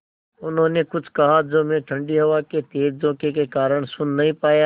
उन्होंने कुछ कहा जो मैं ठण्डी हवा के तेज़ झोंके के कारण सुन नहीं पाया